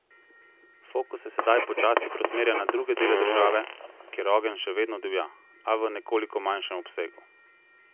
Fokus se sedaj počasi preusmerja na druge dele države, kjer ogenj še vedno divja, a v nekoliko manjšem obsegu.